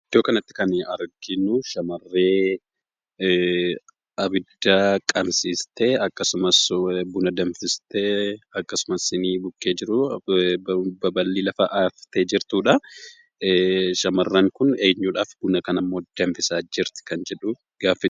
Iddoo kanatti kan arginu, shamarree abidda qabsiistee, akkasumas buna danfistee, akkasumas siiniin bukkee jiru, baballi lafa haftee jirtuudha. Shamarreen kun eenyuudhaaf buna kanammoo danfisaa jirti kan jedhu gaaffiidha.